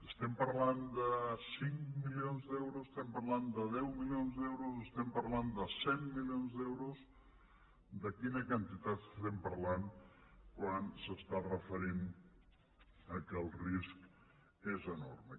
estem parlant de cinc milions d’euros estem parlant de deu milions d’euros estem parlant de cent milions d’euros de quina quantitat estem parlant quan s’està referint al fet que el risc és enorme